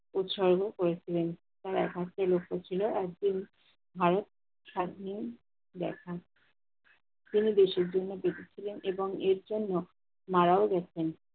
উৎসর্গ করেছিলেন। তার একমাত্র লক্ষ ছিল একদিন ভারত স্বাধীনে দেখা। তিনি দেশের জন্য কেঁদেছিলেন এবং এর জন্য মারাও গেছেন।